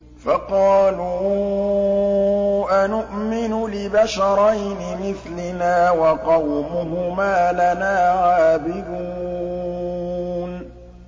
فَقَالُوا أَنُؤْمِنُ لِبَشَرَيْنِ مِثْلِنَا وَقَوْمُهُمَا لَنَا عَابِدُونَ